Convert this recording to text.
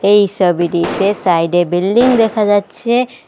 এই সবিটিতে সাইডে বিল্ডিং দেখা যাচ্ছে।